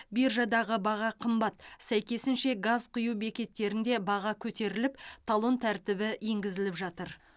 биржадаға баға қымбат сәйкесінше газ құю бекеттерінде баға көтеріліп талон тәртібі енгізіліп жатыр